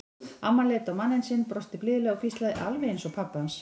Amman leit á manninn sinn, brosti blíðlega og hvíslaði: Alveg eins og pabbi hans.